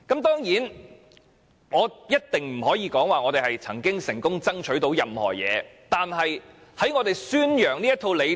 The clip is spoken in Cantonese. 當然，我一定不會說我們曾經成功爭取到任何東西，但我們一直在宣揚這套理念。